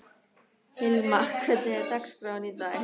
Hilma, hvernig er dagskráin í dag?